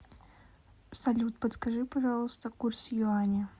салют подскажи пожалуйста курс юаня